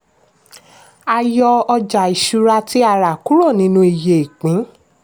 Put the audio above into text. a yọ ọjà ìṣúra tí a rà kúrò nínú iye ìpín.